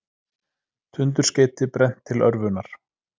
Tundurskeyti brennt til örvunar